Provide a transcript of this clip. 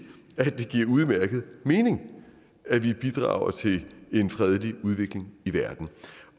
at det giver udmærket mening at vi bidrager til en fredelig udvikling i verden